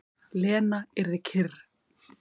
Lena yrði kyrr.